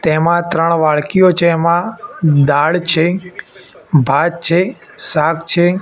તેમા ત્રણ વાડકીયો છે એમા દાળ છે ભાત છે શાક છે.